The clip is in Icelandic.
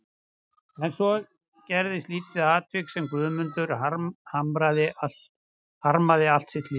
En svo gerðist lítið atvik sem Guðmundur harmaði allt sitt líf.